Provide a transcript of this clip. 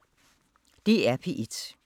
DR P1